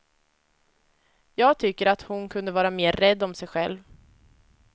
Jag tycker att hon kunde vara mer rädd om sig själv.